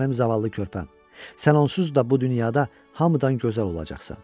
Mənim zavallı körpəm, sən onsuz da bu dünyada hamıdan gözəl olacaqsan.